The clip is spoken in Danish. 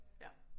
Ja